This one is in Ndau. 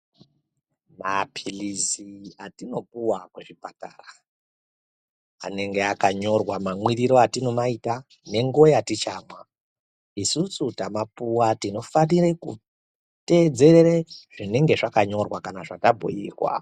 Maphilizi atinopuwa kuzvipatara, anenge akanyorwa mamwiriro atinomaita nenguwa yatichamwa isusu tamapuwa tinofanire kutedzerere zvinenge zvakanyorwa kana kuti zvatabhuirwa.